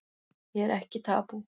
Ég er ekki tabú